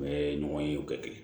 N bɛ ɲɔgɔn ye o kɛ